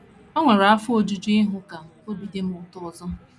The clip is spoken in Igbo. O nwere afọ ojuju ịhụ ka obi dị m ụtọ ọzọ.